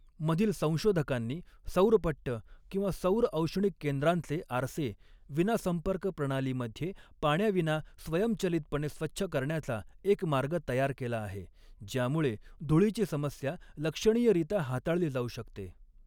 मधील संशोधकांनी सौरपट्ट किंवा सौर औष्णिक केंद्रांचे आरसे विनासंपर्क प्रणालीमध्ये पाण्याविना स्वयंचलितपणे स्वच्छ करण्याचा एक मार्ग तयार केला आहे, ज्यामुळे धूळीची समस्या लक्षणीयरित्या हाताळली जाऊ शकते.